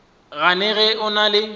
gane ge o na le